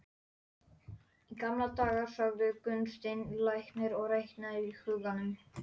Ég þarf að sofa, sagði ritstjórinn og þverslaufan titraði svolítið.